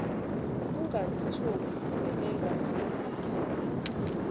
ungazithola uvelelwa zingozi